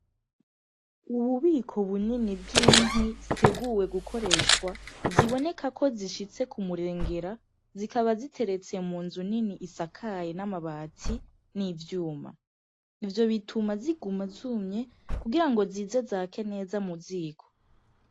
Ububiko bunini bw'inkwi ziteguwe gukoreshwa ziboneka ko zishitse kumurengera zikaba ziteretse mu nzu nini isakaye n'amabati n'ivyuma ,ivyo bituma ziguma zumye kugira zize zake neza mu ziko